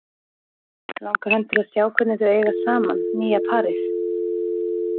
Langar hann til að sjá hvernig þau eiga saman, nýja parið?